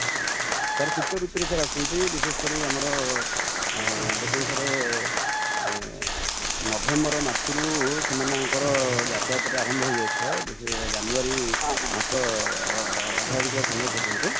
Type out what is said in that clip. sir ଶୀତ ଋତୁ ରେ ସାର ଆସନ୍ତି ବିଶେଷ କରି ଆମର, ଦେଖନ୍ତୁ sir ନଭେମ୍ବର ମାସ ରୁ ସେମାନଙ୍କ ର ଯାତାୟାତ ଟା ଆରମ୍ଭ ହେଇ ଯାଇ ଥାଏ, ବିଶେଷ କରି ଜାନୁଆରୀ ମାସ ଅଧାଧିକ ସମୟ ପର୍ଯ୍ୟନ୍ତେ |